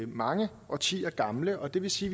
mange årtier gamle og det vil sige